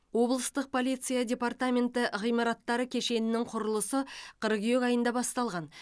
облыстық полиция департаменті ғимараттары кешенінің құрылысы қыркүйек айында басталған